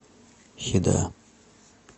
хеда